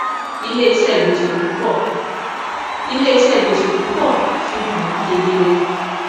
iléiṣẹ gbèsè púpọ iléiṣẹ gbèsè púpọ fihan wọn kedere